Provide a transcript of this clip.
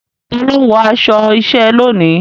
Ta ló ń wọ aṣọ iṣẹ́ lónìí?